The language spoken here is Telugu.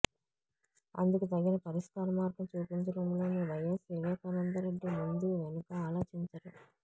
అందుకు తగిన పరిష్కార మార్గం చూపించడంలో వైఎస్ వివేకానందరెడ్డి ముందూ వెనుకా ఆలోచించరు